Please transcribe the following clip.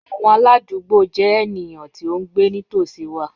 Awọn aladugbo jẹ eniyan ti o ngbe nitosi wa